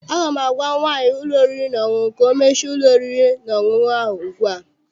Aga m agwa nwaanyị ụlọ oriri na ọṅụṅụ ka ọ mechie ụlọ oriri na ọṅụṅụ ahụ ugbu a!